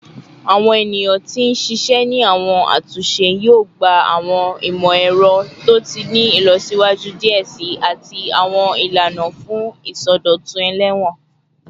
Awọn eniyan ti n ṣiṣẹ ni awọn atunṣe yoo gba awọn imọ-ẹrọ to ti ni ilọsiwaju diẹ sii ati awọn ilana fun isọdọtun elewon